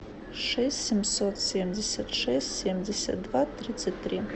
шесть семьсот семьдесят шесть семьдесят два тридцать три